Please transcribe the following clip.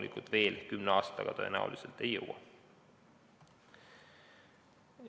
Sinna me kümne aastaga tõenäoliselt ei jõua.